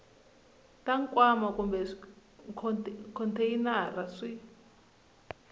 ta nkwama kumbe khonteyinara swi